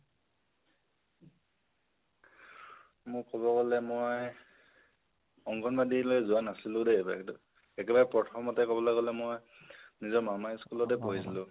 মই ক'ব গলে মই অঙ্গনবাদিলৈ যোৱা নাছিলো দেই । একেবাৰে প্ৰথামতে কবলৈ গলে মই নিজৰ মামাৰ school তে পঢ়িছিলো